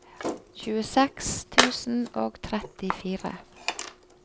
tjueseks tusen og trettifire